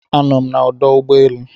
anọm na ọdụ ụgbọ elu